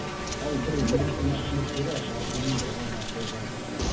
ал бір медицина қызметкері басы мен бұғанасы жарақаттанған